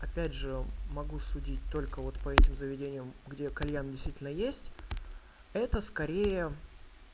опять же могу судить только вот по этим заведениям где кальян действительно есть это скорее